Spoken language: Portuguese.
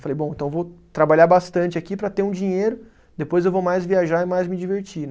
Falei, bom, então vou trabalhar bastante aqui para ter um dinheiro, depois eu vou mais viajar e mais me divertir, né?